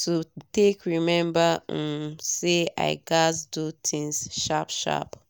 to take remember um say i gats do things sharp sharp